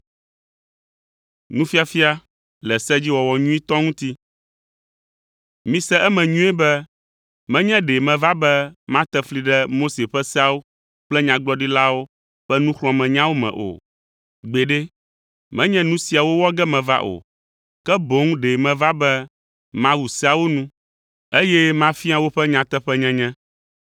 “Mise eme nyuie be, menye ɖe meva be mate fli ɖe Mose ƒe seawo kple Nyagblɔɖilawo ƒe nuxlɔ̃amenyawo me o. Gbeɖe, menye nu siawo wɔ ge meva o, ke boŋ ɖe meva be mawu seawo nu, eye mafia woƒe nyateƒenyenye.